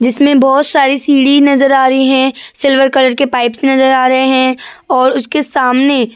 जिसमे बोहोत सारे सीढ़ी नज़र आ रही हैं। सिल्वर कलर के पाइप्स नज़र आ रहे हैं। और उसके सामने--